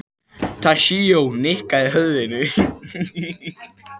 Toshizo nikkaði höfðinu.